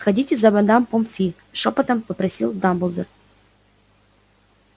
сходите за мадам помфи шёпотом попросил дамблдор